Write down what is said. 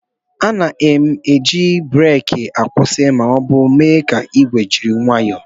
A na-eji breeki akwụsị ma ọ bụ mee ka igwe jiri nwayoo